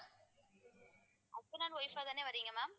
husband and wife அ தானே வர்றீங்க ma'am